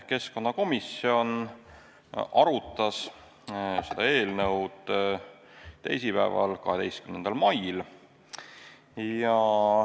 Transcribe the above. Keskkonnakomisjon arutas seda eelnõu teisipäeval, 12. mail.